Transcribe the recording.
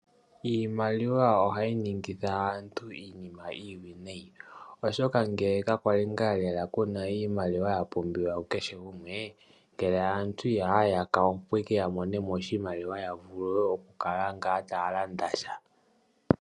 Iimaliwa ohayi ningitha aantu iinima iiwinayi. Oshoka ngele ka kwali ngaa lela kuna iimaliwa ya pumbiwa ku kehe gumwe, ngele aantu ihaya yaka ya mone mo oshimaliwa, ya vule ngaa taya landa sha.